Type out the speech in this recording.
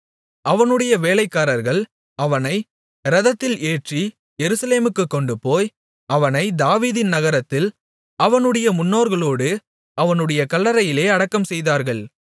அவனுடைய வேலைக்காரர்கள் அவனை இரதத்தில் ஏற்றி எருசலேமுக்குக் கொண்டுபோய் அவனைத் தாவீதின் நகரத்தில் அவனுடைய முன்னோர்களோடு அவனுடைய கல்லறையிலே அடக்கம்செய்தார்கள்